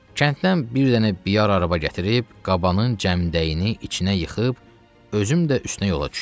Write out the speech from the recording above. Kənddən bir dənə biyar araba gətirib, qabanın cəmdəyini içinə yıxıb, özüm də üstünə yola düşdüm.